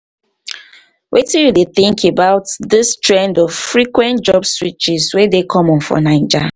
wetin you dey um think about dis um trend of frequent um job switches wey dey common for naija?